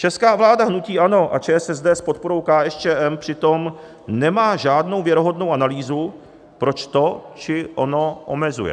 Česká vláda hnutí ANO a ČSSD s podporou KSČM přitom nemá žádnou věrohodnou analýzu, proč to či ono omezuje.